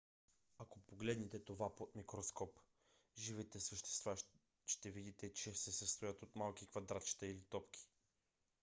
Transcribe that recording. ако погледнете под микроскоп живите същества ще видите че се състоят от малки квадратчета или топки